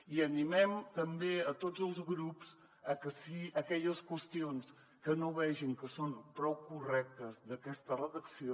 i animem també a tots els grups a que si aquelles qüestions que no vegin que són prou correctes d’aquesta redacció